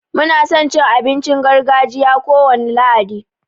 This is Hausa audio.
Mu na son cin abincin gargajiya kowane lahadi.